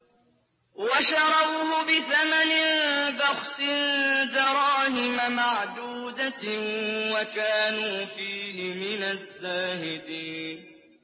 وَشَرَوْهُ بِثَمَنٍ بَخْسٍ دَرَاهِمَ مَعْدُودَةٍ وَكَانُوا فِيهِ مِنَ الزَّاهِدِينَ